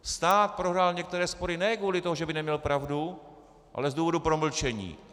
Stát prohrál některé spory ne kvůli tomu, že by neměl pravdu, ale z důvodu promlčení.